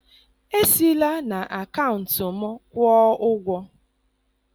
esi la na akaụntụ m kwuo ụgwọ